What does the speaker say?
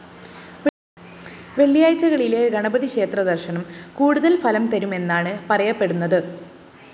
വെള്ളിയാഴ്ചകളിലെ ഗണപതി ക്ഷേത്രദര്‍ശനം കൂടുതല്‍ ഫലം തരുമെന്നാണ് പറയപ്പെടുന്നത്